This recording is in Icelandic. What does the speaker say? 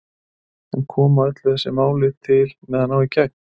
En koma öll þessi mál til með að ná í gegn?